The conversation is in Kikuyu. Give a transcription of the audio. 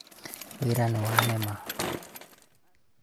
wĩra nĩwanema